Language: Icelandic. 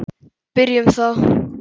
Byrjum þá.